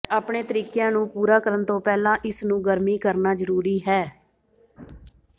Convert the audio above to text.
ਆਪਣੇ ਤਰੀਕਿਆਂ ਨੂੰ ਪੂਰਾ ਕਰਨ ਤੋਂ ਪਹਿਲਾਂ ਇਸਨੂੰ ਗਰਮੀ ਕਰਨਾ ਜ਼ਰੂਰੀ ਹੈ